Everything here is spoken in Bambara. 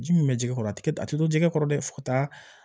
Ji min bɛ jɛgɛ a tɛ a tɛ to jɛgɛ kɔrɔ dɛ fo ka taa